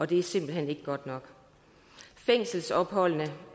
det er simpelt hen ikke godt nok fængselsopholdene